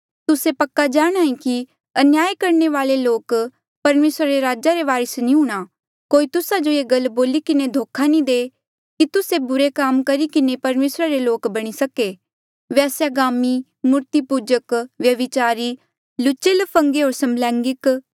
तुस्से पक्का जाणांहे कि अन्याय करणे वाले लोक परमेसरा रे राजा रे वारस नी हूंणे कोई तुस्सा जो ये गल बोली किन्हें धोखा नी दे कि तुस्से बुरे काम किन्हें भी परमेसरा रे लोक बणी सके वेस्यागामी मूर्तिपूजक व्यभिचारी लुच्चे ल्फंगे होर समलैंगिक